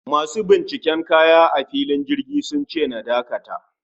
Masu binciken kaya a filin jirgi sunce na dakata